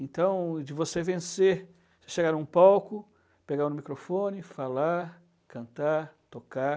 Então, de você vencer, chegar em um palco, pegar no microfone, falar, cantar, tocar...